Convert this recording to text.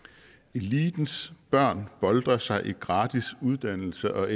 elitens børn boltrer sig i gratis uddannelse og